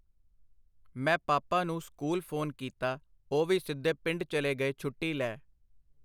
ਮੈਂ ਪਾਪਾ ਨੂੰ ਸਕੂਲ ਫੋਨ ਕੀਤਾ, ਉਹ ਵੀ ਸਿੱਧੇ ਪਿੰਡ ਚਲੇ ਗਏ ਛੁੱਟੀ ਲੈ .